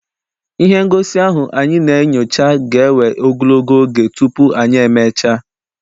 Ihe ngosi ahụ anyị na-enyocha ga ewe ogologo oge tupu anyị e mechaa.